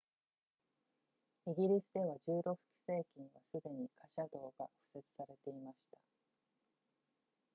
イギリスでは16世紀にはすでに貨車道が敷設されていました